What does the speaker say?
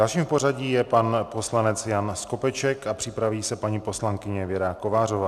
Dalším v pořadí je pan poslanec Jan Skopeček a připraví se paní poslankyně Věra Kovářová.